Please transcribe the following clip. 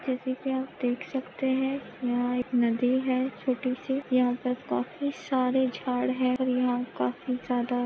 जैसे की आप देख सकते है यहा एक नदी है छोटी सी यहा पर काफी सारे झाड है और यहा काफी ज्यादा--